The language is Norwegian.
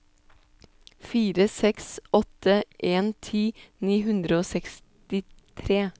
fire seks åtte en ti ni hundre og sekstitre